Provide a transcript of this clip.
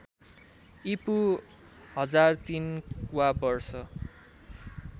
ईपू १००३ वा वर्ष